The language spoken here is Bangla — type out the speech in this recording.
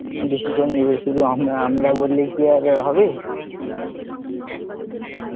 Decision নেবে শুধু আমরা বললে কি আর হবে, কি